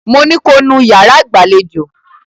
Mo ní ko nú ilẹ̀ yàrá ìgbàlejò!